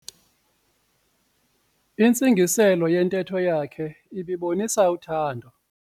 Intsingiselo yentetho yakhe ibibonisa uthando.